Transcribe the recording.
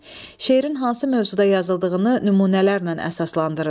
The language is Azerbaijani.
Şeirin hansı mövzuda yazıldığını nümunələrlə əsaslandırın.